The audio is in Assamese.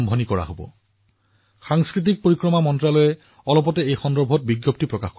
অনাগত দিনত সংস্কৃতি মন্ত্ৰালয়ে ইয়াৰ সৈতে সম্পৰ্কিত সকলো তথ্য প্ৰদান কৰিব